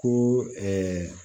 Ko